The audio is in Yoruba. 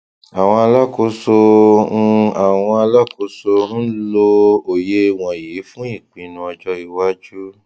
àwọn alákòóso ń àwọn alákòóso ń lò òye wọnyí fún ìpinnu ọjọ iwájú